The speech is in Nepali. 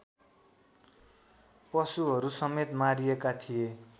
पशुहरूसमेत मारिएका थिए